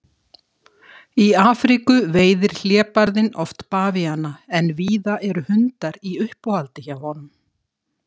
Í Afríku veiðir hlébarðinn oft bavíana en víða eru hundar í uppáhaldi hjá honum.